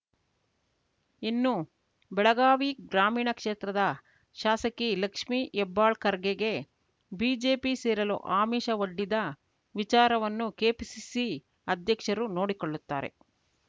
ಇನ್ನು ಬೆಳಗಾವಿ ಗ್ರಾಮೀಣ ಕ್ಷೇತ್ರದ ಶಾಸಕಿ ಲಕ್ಷ್ಮಿ ಹೆಬ್ಬಾಳ್ಕರ್‌ಗೆಗೆ ಬಿಜೆಪಿ ಸೇರಲು ಆಮಿಷ ಒಡ್ಡಿದ ವಿಚಾರವನ್ನು ಕೆಪಿಸಿಸಿ ಅಧ್ಯಕ್ಷರು ನೋಡಿಕೊಳ್ಳುತ್ತಾರೆ